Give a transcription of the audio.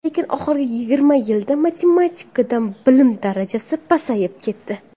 Lekin oxirgi yigirma yilda matematikadan bilim darajasi pasayib ketdi.